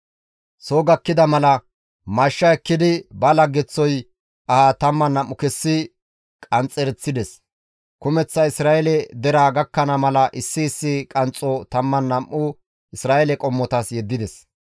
Soo gakkida mala mashsha ekkidi ba laggeththoy aha 12 kessi qanxxereththides; kumeththa Isra7eele deraa gakkana mala issi issi qanxxo 12 Isra7eele qommotas yeddides.